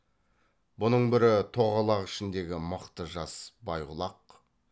бұның бірі тоғалақ ішіндегі мықты жас байғұлақ